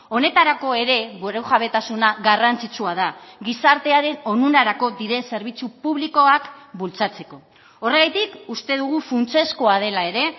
honetarako ere burujabetasuna garrantzitsua da gizartearen onurarako diren zerbitzu publikoak bultzatzeko horregatik uste dugu funtsezkoa dela ere